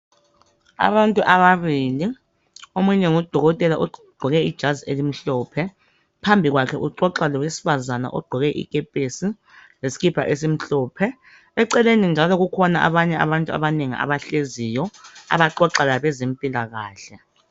Abantu ababili omunye ngudokotela ogqoke ijazi elimhlophe. Phambi kwakhe uxoxa lowesifazana ogqoke ikepesi leskipa esimhlophe. Eceleni njalo kukhona abanye abantu abanengi abahleziyo abaxoxa labezempilakahle.